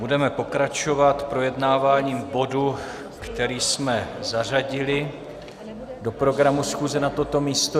Budeme pokračovat projednáváním bodu, který jsme zařadili do programu schůze na toto místo.